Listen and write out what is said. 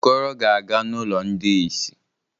Okoro ga-aga n’ụlọ ndị ìsì.